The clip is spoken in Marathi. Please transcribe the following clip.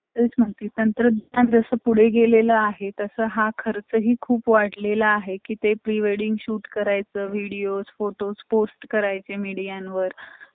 job केल्यामुळे आपन आपला जो रोजचा खर्च आहे, तो भग करू शकतो किआ आपल्याला लोकानसमोर हाथ पसरवण्याची किव्हा भिक पैशे मागण्याची गरज पडत नाही, तर यामुळे job सगळ्यांनी केल पाहिजे